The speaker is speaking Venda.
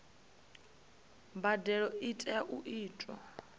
mbadelo i tea u itwa